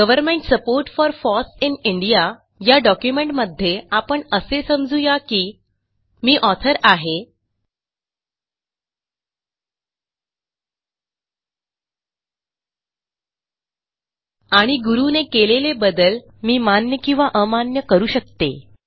Government support for FOSS in Indiaया डॉक्युमेंटमध्ये आपण असे समजू या की मी ऑथर आहे आणि गुरू ने केलेले बदल मी मान्य किंवा अमान्य करू शकतो